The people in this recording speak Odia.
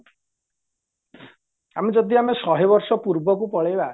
ଆମେ ଯଦି ଆମେ ସହେ ବର୍ଷ ପୂର୍ବକୁ ପଳେଇବା